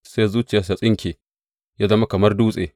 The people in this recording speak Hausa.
Sai zuciyarsa ta tsinke, ya zama kamar dutse.